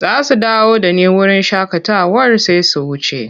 Za su dawo da ni wurin shakatawar sai su wuce.